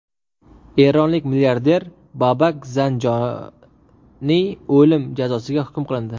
Eronlik milliarder Babak Zanjoniy o‘lim jazosiga hukm qilindi.